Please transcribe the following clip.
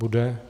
Bude.